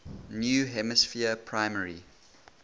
new hampshire primary